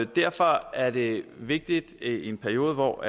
derfor er det vigtigt i en periode hvor